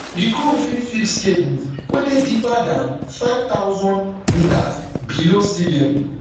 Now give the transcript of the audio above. di crew fit fix cables wey dey deeper dan five thousandm below sea level